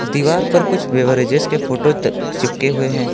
दीवार पर कुछ बेवरेजेस के फोटो ट चिपके हुए हैं।